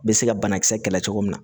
Bɛ se ka banakisɛ kɛlɛ cogo min na